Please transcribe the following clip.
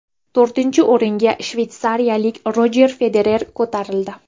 To‘rtinchi o‘ringa shveysariyalik Rojer Federer ko‘tarildi.